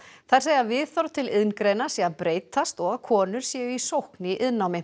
þær segja að viðhorf til iðngreina sé að breytast og að konur séu í sókn í iðnnámi